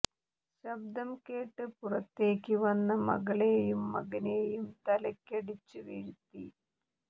ശബ്ദം കേട്ട് പുറത്തേക്ക് വന്ന മകളേയും മകനേയും തലക്കടിച്ച് വീഴ്ത്തി